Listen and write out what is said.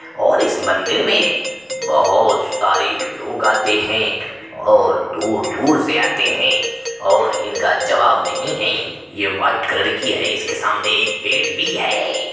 और इस मंदिर में बहोत सारे लोग आते हैं और दूर दूर से आते हैं और इनका जवाब नहीं है। ये वाइट कलर की है। इसके सामने एक पड़े भी है।